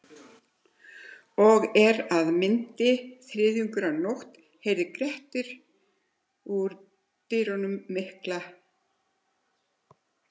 Og er af myndi þriðjungur af nótt heyrði Grettir út dynur miklar.